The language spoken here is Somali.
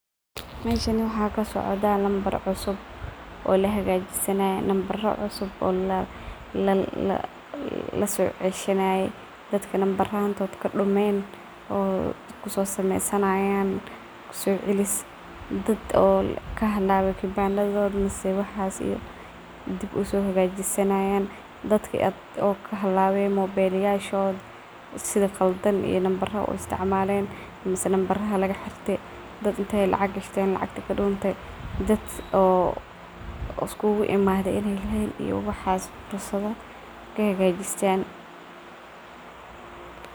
Meeshan waxa kasocda numbara cusub oo lasoceshanayo dadka numbaranta kadumeen oo kusosameysanayan socelis. Dadka kibanndarkoda kahalawe mise waxas dib usohagajisnaya dadka kahalawen mobelyashoda mise sii qaladan uisticmalaya numbarada oo lagaxirte dad intey lacag gashten lagaxirte oo iskuguimaden in ey leen waxa cusub hagajistan.